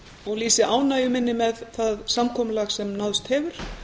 og lýsi ánægju minni með það samkomulag sem náðst hefur